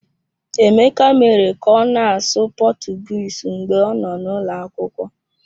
Emeka mere ka ọ na-asụ Portuguese mgbe ọ nọ n'ụlọ akwụkwọ.